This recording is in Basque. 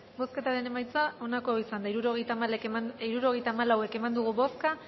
bozketaren emaitza onako izan da hirurogeita hamalau eman dugu bozka